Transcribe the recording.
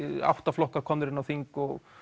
átta flokkar eru komnir inn á þing og